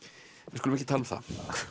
við skulum ekki tala um það